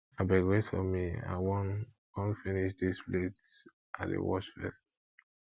abeg wait for me i wan wan finish dis plates i dey wash first